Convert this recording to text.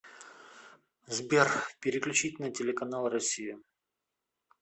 сбер переключить на телеканал россию